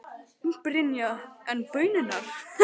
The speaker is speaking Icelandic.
Brynja: En baunirnar?